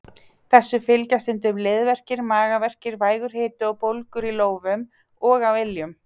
Þessu fylgja stundum liðverkir, magaverkir, vægur hiti og bólgur í lófum og á iljum.